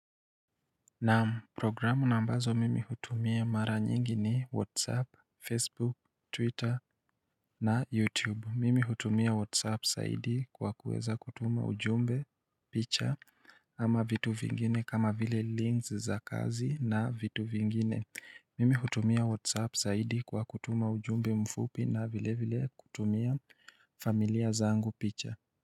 Naam, programu na ambazo mimi hutumia mara nyingi ni whatsapp, facebook, twitter na youtube. Mimi hutumia whatsapp zaidi kwa kuweza kutuma ujumbe picha ama vitu vingine kama vile links za kazi na vitu vingine. Mimi hutumia whatsapp zaidi kwa kutuma ujumbe mfupi na vile vile kutumia familia zangu picha.